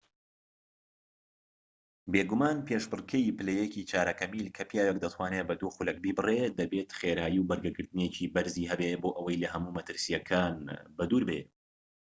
بێگومان پێشبڕكێی پلە یەکی چارەکە میل کە پیاوێك دەتوانێت بە دوو خولەک بیبڕێت دەبێت خێرایی و بەرگەگرتنێکی بەرزی هەبێت بۆ ئەوەی لەهەموو مەترسیەکان بەدوور بێت